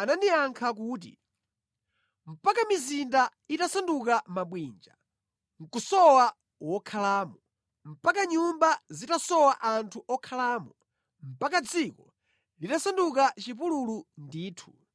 anandiyankha kuti, “Mpaka mizinda itasanduka mabwinja nʼkusowa wokhalamo, mpaka nyumba zitasowa anthu okhalamo, mpaka dziko litasanduka chipululu ndithu,